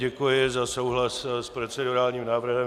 Děkuji za souhlas s procedurálním návrhem.